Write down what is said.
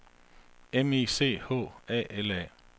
M I C H A L A